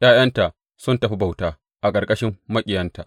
’Ya’yanta sun tafi bauta, a ƙarƙashin maƙiyanta.